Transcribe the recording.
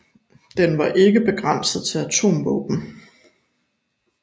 Den var ikke begrænset til atomvåben